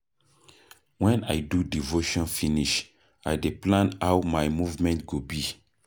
Wen I do devotion finish, I dey plan how my movement go be.